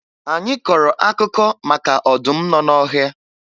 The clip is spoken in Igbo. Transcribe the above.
Anyị kọrọ akụkọ maka ọdụm nọ n'ọhịa